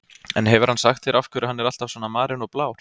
En hefur hann sagt þér af hverju hann er alltaf svona marinn og blár?